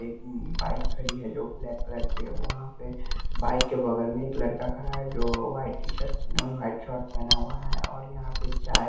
एक मम बाइक खड़ी है जो ब्लैक कलर की है वहां पे बाइक के बगल में एक लड़का खड़ा है जो white T shirt uh white shirt पहना हुआ है और यहां पे चाय --